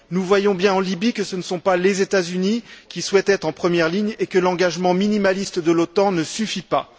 Nous voyons bien en Libye que ce ne sont pas les États Unis qui souhaitent être en première ligne, et que l'engagement minimaliste de l'OTAN ne suffit pas.